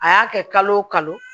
A y'a kɛ kalo o kalo